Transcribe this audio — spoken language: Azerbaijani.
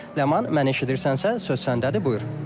Ləman, mənə eşidirsənsə, söz səndədir, buyur.